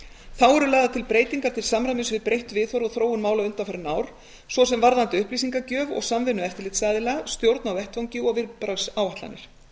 þá eru lagðar til breytingar til samræmis við breytt viðhorf og þróun mála undanfarin ár svo sem varðandi upplýsingagjöf og samvinnu eftirlitsaðila stjórn á vettvangi og viðbragðsáætlanir